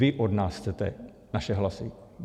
Vy od nás chcete naše hlasy.